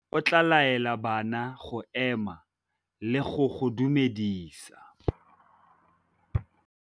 Morutabana o tla laela bana go ema le go go dumedisa.